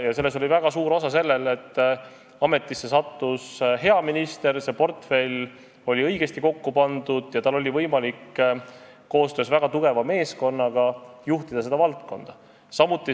Ja selles mängis väga suurt osa see, et ametisse sattus hea minister, portfell oli õigesti kokku pandud ja ministril oli võimalik koostöös väga tugeva meeskonnaga seda protsessi juhtida.